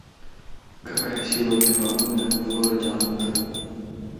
какая сегодня погода в городе алматы